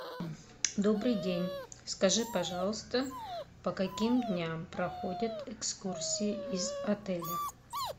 добрый день скажи пожалуйста по каким дням проходят экскурсии из отеля